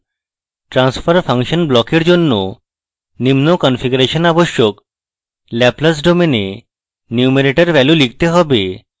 transfer function block for জন্য নিম্ন configuration আবশ্যক laplace domain এ numerator value লিখতে হবে